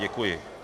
Děkuji.